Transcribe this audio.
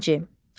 Birinci.